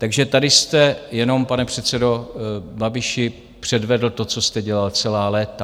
Takže tady jste jenom, pane předsedo Babiši, předvedl to, co jste dělal celá léta.